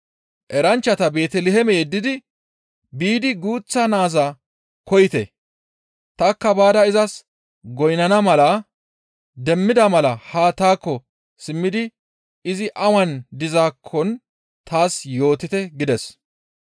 Eranchchata Beeteliheeme yeddidi, «Biidi guuththa naaza koyite, tanikka baada izas goynnana mala demmida mala haa taakko simmidi izi awan dizaakkon taas yootite» gides.